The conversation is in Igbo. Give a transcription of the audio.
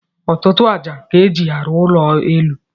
Ọtụtụ aja ka eji aru ụlọ élú.